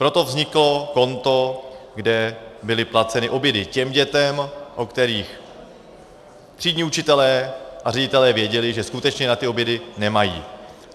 Proto vzniklo konto, kde byly placeny obědy těm dětem, o kterých třídní učitelé a ředitelé věděli, že skutečně na ty obědy nemají.